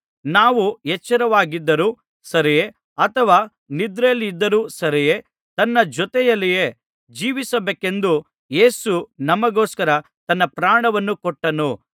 ನಾವು ಎಚ್ಚರವಾಗಿದ್ದರೂ ಸರಿಯೇ ಅಥವಾ ನಿದ್ರೆಯಲ್ಲಿದ್ದರೂ ಸರಿಯೇ ತನ್ನ ಜೊತೆಯಲ್ಲಿಯೇ ಜೀವಿಸಬೇಕೆಂದು ಯೇಸು ನಮಗೋಸ್ಕರ ತನ್ನ ಪ್ರಾಣವನ್ನು ಕೊಟ್ಟನು